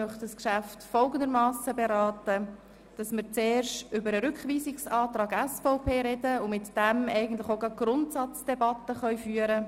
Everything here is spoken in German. Ich möchte zuerst über den Rückweisungsantrag der SVP sprechen und gleichzeitig die Grundsatzdebatte führen.